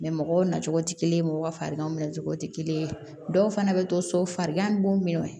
mɔgɔw nacogo tɛ kelen ye mɔgɔw farikanw nacogo tɛ kelen ye dɔw fana bɛ to so farigan ni b'u minɛ